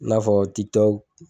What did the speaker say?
n'a fɔ